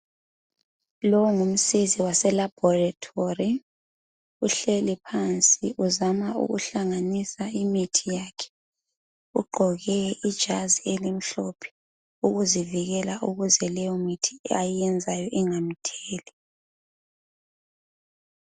Lowu ngumsizi wase laboratory uhleli phansi uzama ukuhlanganisa imithi yakhe ugqoke ijazi elimhlophe ukuzivikela ukuze leyomithi ayebenzayo ingamtheli